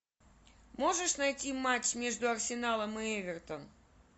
можешь найти матч между арсеналом и эвертон